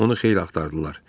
Onu xeyli axtardılar.